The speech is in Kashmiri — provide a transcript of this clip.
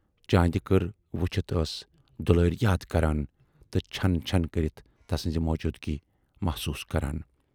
چاندِ کٔرۍ وُچھِتھ ٲس دُلاری یاد کران تہٕ چھَن چھَن کٔرِتھ تسٕنزِ موجوٗدگی محسوٗس کران۔